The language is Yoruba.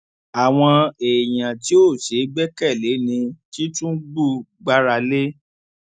àwọn èèyàn tí ò ṣeé gbẹkẹlé ni tìtúngbù gbára lé